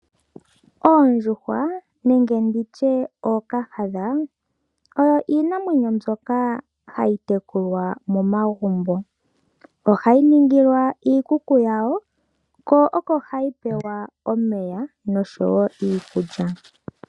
Oondjuhwa nenge nditye ookahadha oyo iinamwenyo ndyoka hayi tekulwa momagumbo. Ohayi ningilwa iikuku yawo ko oko hayi pelwa omeya noshowo iikulya.